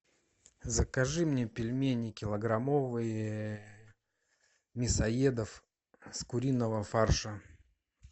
закажи мне пельмени килограммовые мясоедов с куриного фарша